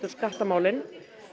skattamálin